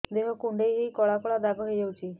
ଦେହ କୁଣ୍ଡେଇ ହେଇ କଳା କଳା ଦାଗ ହେଇଯାଉଛି